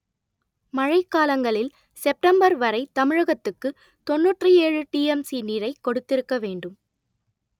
மழை காலங்களில் செப்டம்பர் வரை தமிழகத்துக்கு தொன்னூற்று ஏழு டிஎம்சி நீரை கொடுத்திருக்க வேண்டும்